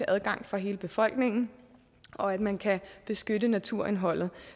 adgang for hele befolkningen og at man kan beskytte naturindholdet